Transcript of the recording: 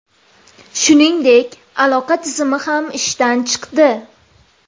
Shuningdek, aloqa tizimi ham ishdan chiqdi.